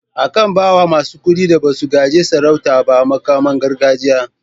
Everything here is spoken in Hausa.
A kan bawa masu kuɗin da basu gaji sarauta ba muƙaman gargajiya.